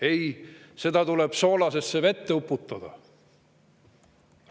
Ei, seda raha tuleb soolasesse vette uputada!